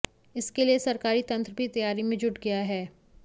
इसके लिए सरकारी तंत्र भी तैयारी में जुट गया है